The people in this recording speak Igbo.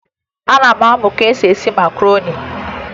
Ana m amụ ka esi esi makaroni